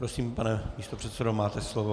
Prosím, pane místopředsedo, máte slovo.